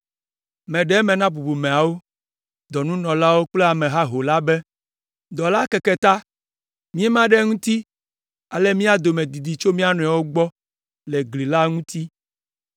Meɖe eme na bubumeawo, dɔnunɔlawo kple ame haho la be, “Dɔ la keke ta, míema ɖe eŋuti ale mía dome didi tso mía nɔewo gbɔ le gli la ŋuti,